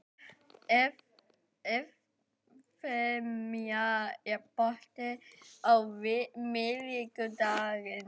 Evfemía, er bolti á miðvikudaginn?